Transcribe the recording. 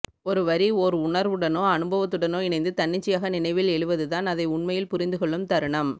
ஒரு வரி ஓர் உணர்வுடனோ அனுபவத்துடனோ இணைந்து தன்னிச்சையாக நினைவில் எழுவதுதான் அதை உண்மையில் புரிந்துகொள்ளும் தருணம்